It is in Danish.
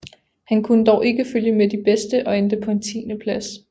Han kunne dog ikke følge med de bedste og endte på en tiendeplads